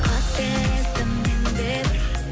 қателестім мен де бір